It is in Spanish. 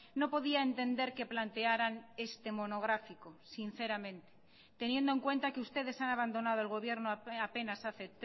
no podía entender que plantearan este monográfico sinceramente teniendo en cuenta que ustedes han abandonado el gobierno apenas hace